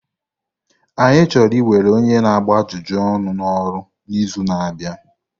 Anyị chọrọ iwere onye na-agba ajụjụ ọnụ n'ọrụ n'izu na-abịa.